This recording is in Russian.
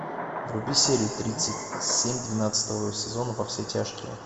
вруби серию тридцать семь двенадцатого сезона во все тяжкие